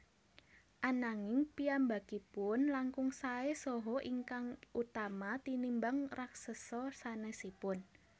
Ananging piyambakipun langkung saè saha ingkang utama tinimbang raksesa sanesipun